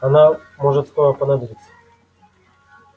она может скоро понадобиться